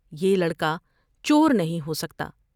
یہ لڑکا چورنہیں ہوسکتا ۔